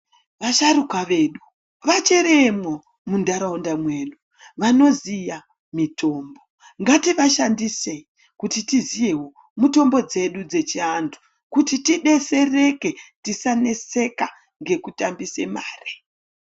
Vasharuka vedu vachirimwo mundaraunda medu vanoziya mitombo ngativashandise kuti tiziyewo mutombo dzedu dzechi andu kuti tibesereke tisa neseka ngeku tambisa mare.